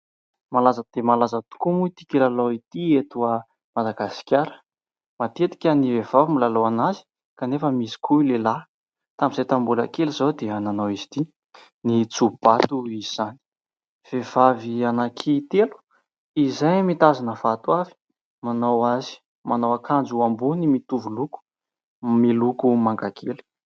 malaza dia malaza tokoa moa ity kilalao ity etoah madagasikara matetika ny vehivavy molalao ana azy kanefa misy koa lehilahy tamin'izay tanmbola kely izao dia nanao izy ity ny tsobato izany vehivavy anaki telo izahay mitazina fato avy manao azy manao ankanjo ho ambony mitovoloko miloko mangakely